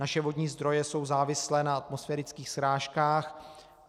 Naše vodní zdroje jsou závislé na atmosférických srážkách.